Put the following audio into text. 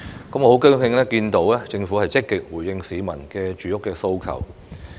我很高興看到政府積極回應市民的住屋訴求。